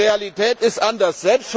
Die Realität ist anders.